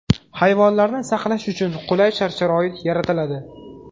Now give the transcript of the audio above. Hayvonlarni saqlash uchun qulay shart-sharoit yaratiladi.